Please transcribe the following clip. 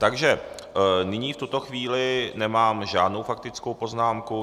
Takže nyní v tuto chvíli nemám žádnou faktickou poznámku.